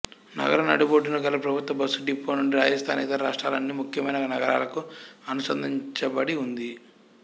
నగరం నడిబొడ్డున గల ప్రభుత్వ బస్సు డిపో నుండి రాజస్థాన్ ఇతర రాష్ట్రాల అన్ని ముఖ్యమైన నగరాలకు అనుసంధానించబడి ఉంది